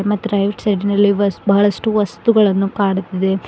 ಮತ್ತು ರೈಟ್ ಸೈಡಿ ನಲ್ಲಿ ಬಹಳಷ್ಟು ವಸ್ತುಗಳನ್ನು ಕಾಣುತ್ತಿದೆ.